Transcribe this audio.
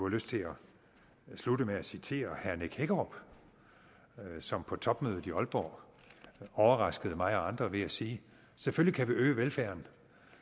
lyst til at slutte med at citere herre nick hækkerup som på topmødet i aalborg overraskede mig og andre ved at sige selvfølgelig kan vi øge velfærden